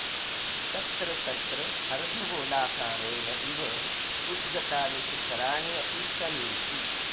तत्र तत्र अर्धगोलाकारेण इव उद्गतानि शिखराणि अपि सन्ति